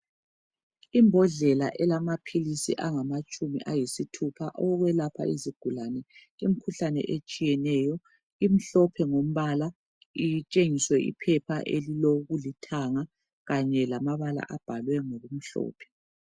Imbhodlela elamaphilisi angamatshumi ayisithupha ukwelapha izigulane emkhuhlane etshiyeneyo imhlophe ngombala itshengise iphepha elilo kulithanga kanye lamabhalwe ngokumhlophe.